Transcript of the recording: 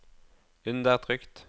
undertrykt